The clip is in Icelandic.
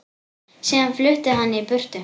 Síðan flutti hann í burtu.